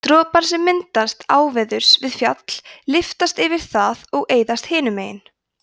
dropar sem myndast áveðurs við fjall lyftast yfir það og eyðast hinu megin